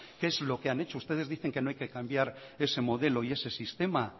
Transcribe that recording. qué es lo que han hecho ustedes dicen que no hay que cambiar ese modelo y ese sistema